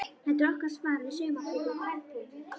Þetta er okkar svar við saumaklúbbum kvenpeningsins.